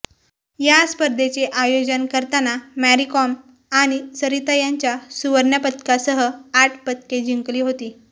या स्पर्धेचे आयोजन करताना मॅरीकॉम आणि सरिता यांच्या सुवर्णपदकासह आठ पदके जिंकली होती